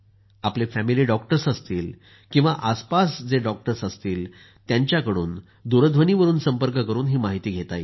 आपले family doctors असतील किवा आसपास जे डॉक्टर्स असतील त्यांच्याकडून दूरध्वनीवरून संपर्क करून माहिती घ्या